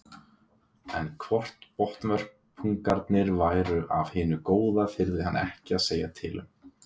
En hvort botnvörpungarnir væru af hinu góða þyrði hann ekki að segja til um.